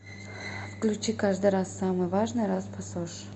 включи каждый раз самый важный раз пасош